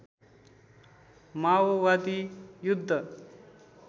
मावोवादी युद्ध